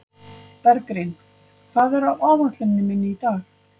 Bergrín, hvað er á áætluninni minni í dag?